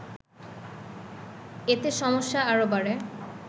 এতে সমস্যা আরও বাড়ে